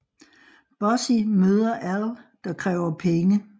Bossy møder Al der kræver penge